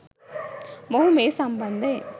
මොහු මේ සම්බන්ධයෙන්